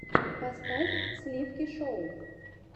поставь сливки шоу